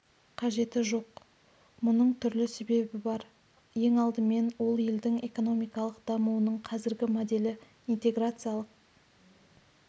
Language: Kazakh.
қажеті жоқ мұның түрлі себебі бар ең алдымен ол елдің экономикалық дамуының қазіргі моделі интеграциялық